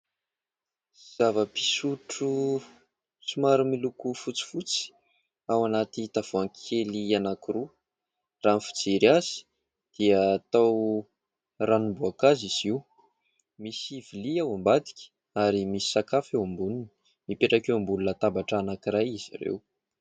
Zava-pisotro somary miloko fotsifotsy ao anaty tavoangy kely anankiroa. Raha ny fijery azy dia toa ranom-boakazo izy io. Misy vilia ao ambadika ary misy sakafo eo amboniny. Mipetraka eo ambony latabatra anankiray izy ireo